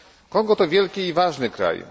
Kongo to wielki i ważny kraj.